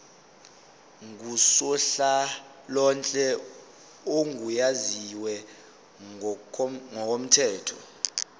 ngusonhlalonhle ogunyaziwe ngokomthetho